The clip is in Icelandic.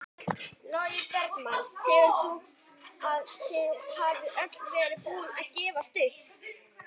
Fæða þeirra einskorðast við agnir af lífrænum toga sem þær finna á gólfum.